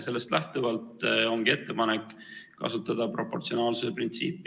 Sellest lähtuvalt ongi ettepanek kasutada proportsionaalsuse printsiipi.